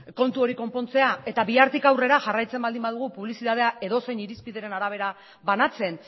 kontu hori konpontzea eta bihartik aurrera jartzen badugu publizitatea edozein irizpideren arabera banatzen